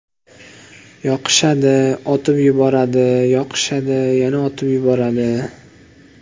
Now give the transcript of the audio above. Yoqishadi, otib yuboradi; yoqishadi, yana otib yuboradi.